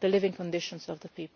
the living conditions of the